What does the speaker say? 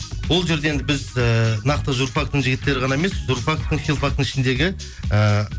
ол жерде енді біз ііі нақты журфактің жігіттері ғана емес журфактің филфактің ішіндегі ііі